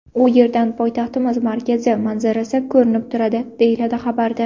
U yerdan poytaxtimiz markazi manzarasi ko‘rinib turadi, deyiladi xabarda.